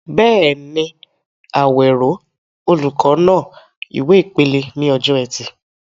Bẹ́ẹ̀ni, Awero, olùkọ́ náà, ìwé ìpele ní ọjọ́ Ẹtì.